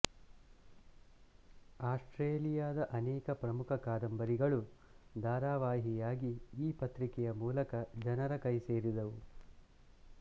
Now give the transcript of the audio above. ಆಸ್ಟ್ರೇಲಿಯದ ಅನೇಕ ಪ್ರಮುಖ ಕಾದಂಬರಿಗಳು ಧಾರಾವಾಹಿಯಾಗಿ ಈ ಪತ್ರಿಕೆಯ ಮೂಲಕ ಜನರ ಕೈ ಸೇರಿದವು